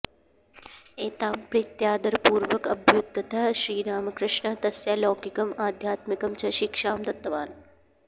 एतां प्रीत्यादरपूर्वकम् अभ्युद्यतः श्रीरामकृष्णः तस्यै लौकिकम् आध्यात्मिकं च शिक्षां दत्तवान्